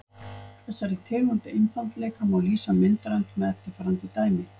Þessari tegund einfaldleika má lýsa myndrænt með eftirfarandi dæmi.